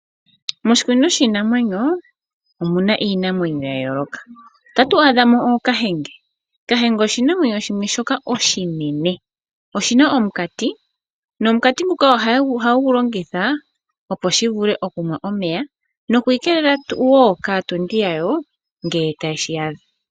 Moshikunino shiinamwenyo omuna iinamwenyo ya yooloka. Otatu adhamo ookahenge, kahenge oshinamwenyo shimwe shoka oshinene, oshina omunkati, nomunkati nguka ohagu longitha opo shivule okunwa omeya, nokwiikelela wo kaatondi yayo nge tashi yadha.